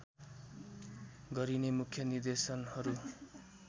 गरिने मुख्य निर्देशनहरू